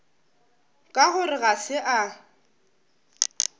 ka gore ga se a